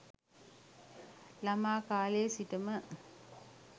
ළමා කාලයේ සිටම